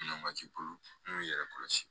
n'u y'i yɛrɛ kɔlɔsi